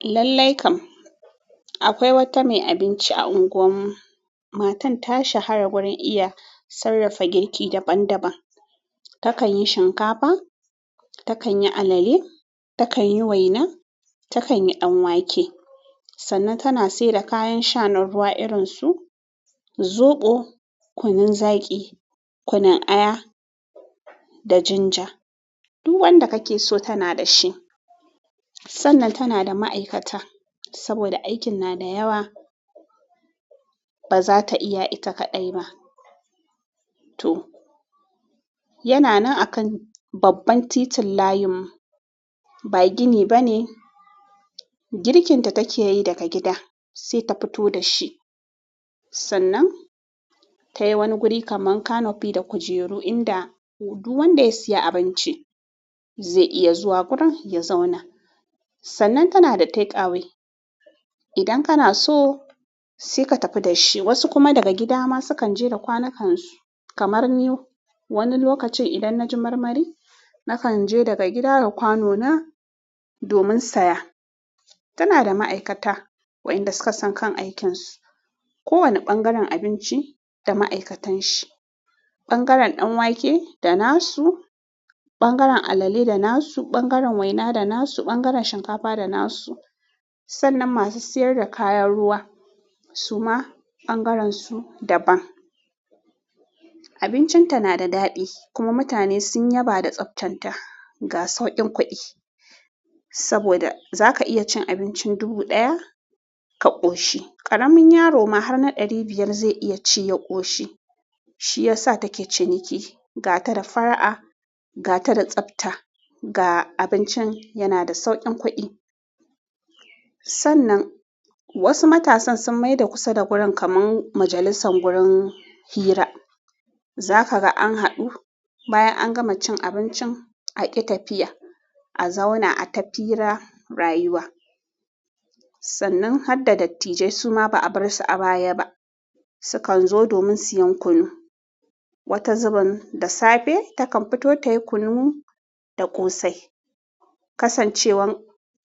Lallai kam. Akwai wata mai abinci a unguwar mu. Matan ta shahara wurin iya sarrafa girki daban-daban. Takan yi shinkafa, takan yi alale, takan yi waina, takan yi ɗan wake. Sannan tana siyar da kayan sha na ruwa irin su soɓo, kunun zaki, kunun aya da jinja. Duk wanda kake so tana da shi. Sannan tana da ma'aikata saboda aikin na da yawa, ba za ta iya ita kaɗai ba. To, yana nan a kan babban titin layinmu. Ba gini ba ne. Girkinta takeyi daga gida sai ta fito dashi. Sannan tayi wani guri kamar canopy da kujeru inda duk wanda ya siya abinci zai iya zuwa wurin ya zauna. Sannan tana da take-away. Idan kana so sai ka tafi da shi. Wasu kuma daga gida ma sukan je da kwanakansu. Kamar ni, wani lokacin idan na ji marmari, na kan je daga gida da kwano na domin saya. Tana da ma'aikata wa'inda suka san kan aikinsu. Kowane ɓangaren abinci da ma'aikatan shi. Ɓangaren ɗan wake da nasu, ɓangaren alale da nasu, ɓangaren waina da nasu, ɓangaren shinkafa da nasu. Sannan masu siyar da kayan ruwa suma ɓangaren su daban. Abincin ta na da daɗi kuma mutane sun yaba da tsaftan ta. Ga sauƙin kuɗi saboda za ka iya cin abincin dubu ɗaya ka ƙoshi. Ƙaramin yaro ma har na ɗari biyar zai iya ci ya ƙoshi. Shi ya sa take ciniki. Ga ta da fara'a, ga ta da tsafta, ga abincin yana da sauƙin kuɗi. Sannan wasu matasan sun maida kusa da gurin kamar majalisan wurin hira. Za ka ga an haɗu bayan an gama cin abincin aƙi tafiya, a zauna a tafira rayuwa. Sannan har da dattijai suma ba a bar su a baya ba. Su kan zo domin siyan kunu. Wata zubin da safe takan fito tayi kunu da ƙosai. Kasancewan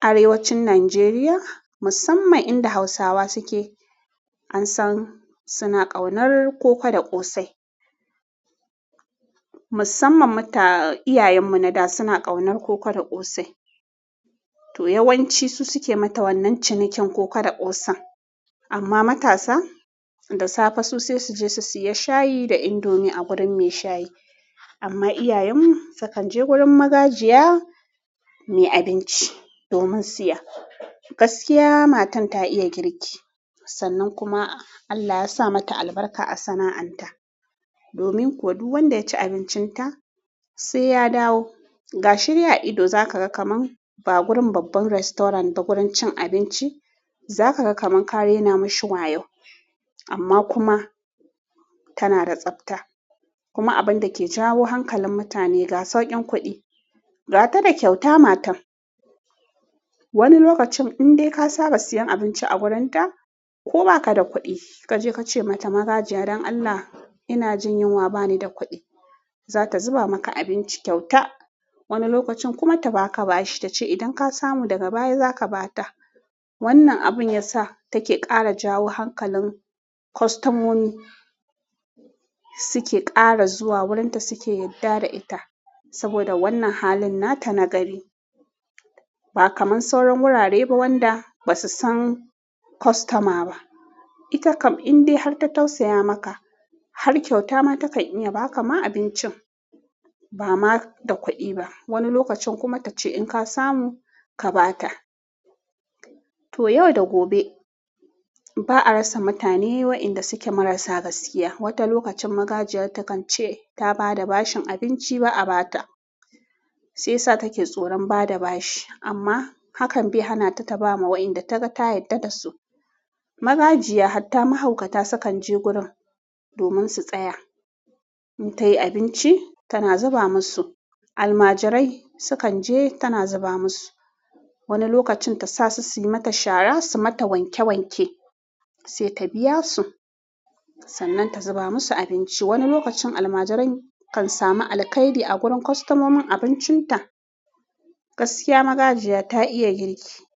Arewacin Najeriya musamman inda Hausawa suke, an san suna ƙaunar koko da ƙosai. Musamman muta, iyayen mu na da suna ƙaunar koko da ƙosai. To, yawanci su suke mata wannan cinikin koko da ƙosan. Amma matasa, da safe su sai su je su siya shayi da indomi a gurin mai shayi. Amma iyayen mu su kan je gurin magajiya mai abinci domin siya. Gaskiya matan ta iya girki. Sannan kuma Allah ya sa mata albarka a sana'an ta. Domin kuwa duk wanda ya ci abincin ta sai ya dawo. Ga shi de a ido za ka ga kamar ba gurin babban restaurant ba, gurin cin abinci. Za ka ga kamar kare nama shi wayo. Amma kuma tana da tsafta. Kuma abin da ke jawo hankalin mutane ga sauƙin kuɗi. Ga ta da kyauta matan. Wani lokacin in dai ka saba siyan abinci a gurin ta ko baka da kuɗi, ka je ka ce mata "magajiya don Allah ina jin yunwa bani da kuɗi" za ta zuba maka abinci kyauta. Wani lokacin kuma ta ba ka bashi, ta ce idan ka samu daga baya za ka ba ta. Wannan abun ya sa take ƙara jawo hankalin kwastomomi suke ƙara zuwa wurin ta suke yarda da ita. Saboda wannan halin nata na gari. Ba kamar sauran wurare ba wanda ba su san kwastoma ba. Ita kam in dai har ta tausaya maka har kyauta ma takan iya ba ka ma abincin ba ma da kuɗi ba. Wani lokacin kuma ta ce in ka samu ka ba ta. To, yau da gobe ba a rasa mutane wa'inda suke marasa gaskiya. Wata lokacin magajiya ta kan ce ta ba da bashin abinci ba a ba ta. Sai sa take tsoron bada bashi. Amma hakan bai hanata ta bawa wayanda taga ta yarda da su. Magajiya hatta mahaukata sukan je gurin domin su tsaya. In ta yi abinci tana zuba musu. Almajirai sukan je tana zuba musu. Wani lokacin ta sa su, su yi mata shara, su mata wanke wanke sai ta biya su. Sannan ta zuba musu abinci. Wani lokacin almajirai kan samu alkairi a gurin kwastomomin abincin ta. Gaskiya magajiya ta iya girki.